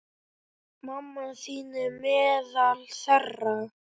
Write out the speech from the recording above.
Mamma þín er meðal þeirra.